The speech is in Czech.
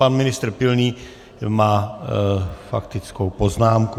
Pan ministr Pilný má faktickou poznámku.